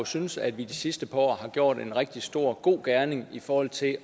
syntes at vi i de sidste par år har gjort en rigtig stor god gerning i forhold til